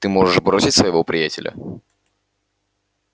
ты можешь бросить своего приятеля